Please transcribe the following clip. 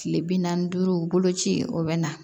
Kile bi naani ni duuru boloci o bɛ na